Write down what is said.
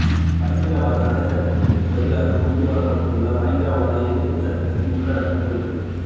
பயங்கரவாத தடைச் சட்டத்திற்கு பதிலாக கொண்டு வரப்படவுள்ள பயங்கரவாத எதிர்ப்புச் சட்டத்தின் உள்ளடக்கம் குறித்து